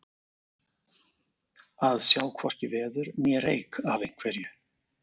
Að sjá hvorki veður né reyk af einhverju